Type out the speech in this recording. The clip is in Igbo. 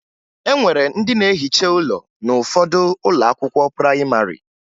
E nwere ndị na-ehiche ụlọ n'ụfọdụ ụlọ akwụkwọ prayịmarị